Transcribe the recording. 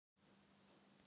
Ég fékk gott uppeldi.